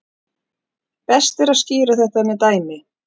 Best er að skýra þetta með dæmi.